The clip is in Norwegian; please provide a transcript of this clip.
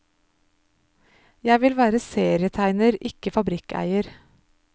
Jeg vil være serietegner, ikke fabrikkeier.